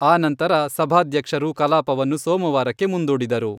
ಆ ನಂತರ ಸಭಾಧ್ಯಕ್ಷರು ಕಲಾಪವನ್ನು ಸೋಮವಾರಕ್ಕೆ ಮುಂದೂಡಿದರು.